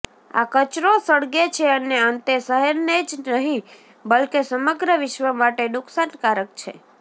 આ કચરો સળગે છે અને અંતે શહેરને જ નહિ બલકે સમગ્ર વિશ્વ માટે નુકસાનકારક છે